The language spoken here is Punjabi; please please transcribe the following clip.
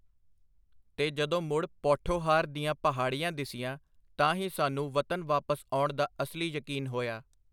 ਤੇ ਜਦੋਂ ਮੁੜ ਪੌਠੋਹਾਰ ਦੀਆਂ ਪਹਾੜੀਆਂ ਦਿਸੀਆਂ, ਤਾਂ ਹੀ ਸਾਨੂੰ ਵਤਨ ਵਾਪਸ ਆਉਣ ਦਾ ਅਸਲੀ ਯਕੀਨ ਹੋਇਆ.